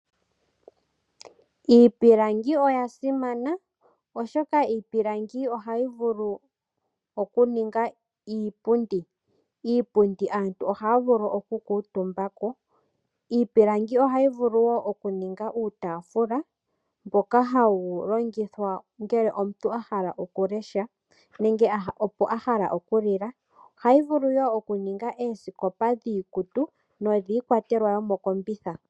Iipilangi oya simana oshoka Iipilangi ohayi vulu okuninga iipundi, iipundi aantu ohaya vulu oku kuutumbako. Iipilangi ohayi vulu woo okuninga uutaaafula mboka hawu longithwa ngele omuntu ahala okulesha nenge oko ahala okulila. Ohadhi vulu woo okuninga oosikopa dhiikutu nodhiikwatelwa yo mokombitha